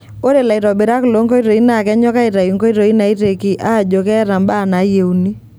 Ore laitobirak loo nkoitoi naa kenyok aitayu enkoitoi naiteki aajo keeta mbaa naaayieuni.